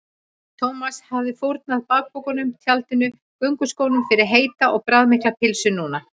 Thomas hefði fórnað bakpokanum, tjaldinu og gönguskónum fyrir heita og bragðmikla pylsu núna.